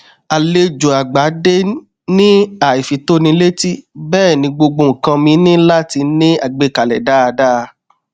àlejò àgbà dé ní àìfitónilétí bẹẹ ni gbogbo nnkan ní láti ní àgbékalẹ dáadáa